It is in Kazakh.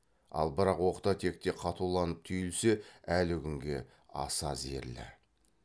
ал бірақ оқта текте қатуланып түйілсе әлі күнге аса зерлі